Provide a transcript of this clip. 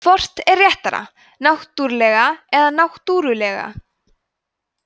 hvort er réttara náttúrlega eða náttúrulega